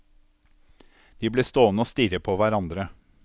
De ble stående og stirre på hverandre.